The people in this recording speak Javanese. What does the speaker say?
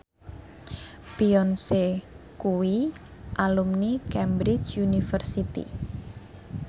Beyonce kuwi alumni Cambridge University